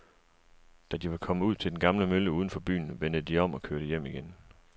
Da de var kommet ud til den gamle mølle uden for byen, vendte de om og kørte hjem igen.